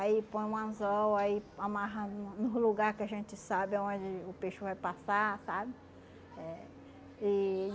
Aí põe um anzol, aí amarra no no lugar que a gente sabe onde o peixe vai passar, sabe? É, e